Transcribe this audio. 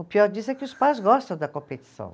O pior disso é que os pais gostam da competição.